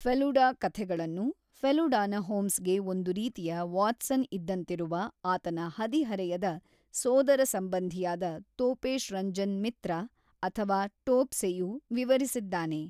ಫೆಲುಡಾ ಕಥೆಗಳನ್ನು, ಫೆಲುಡಾನ ಹೋಮ್ಸ್‌ಗೆ ಒಂದು ರೀತಿಯ ವಾಟ್ಸನ್ ಇದ್ದಂತಿರುವ ಆತನ ಹದಿಹರೆಯದ ಸೋದರಸಂಬಂಧಿಯಾದ ತೋಪೇಶ್ ರಂಜನ್ ಮಿತ್ರ ಅಥವಾ ಟೋಪ್ಸೆಯು ವಿವರಿಸಿದ್ದಾನೆ.